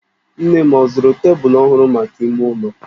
Nne m ọ zụrụ tebụlụ ọhụrụ maka ime ụlọ?